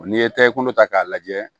N'i ye takɛ kunta k'a lajɛ